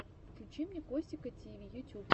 включи мне костика тиви ютюб